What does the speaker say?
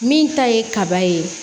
Min ta ye kaba ye